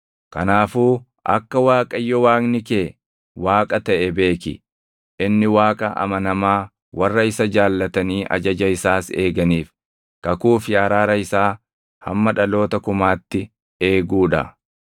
Kanaafuu akka Waaqayyo Waaqni kee Waaqa taʼe beeki; inni Waaqa amanamaa warra isa jaallatanii ajaja isaas eeganiif kakuu fi araara isaa hamma dhaloota kumaatti eeguu dha.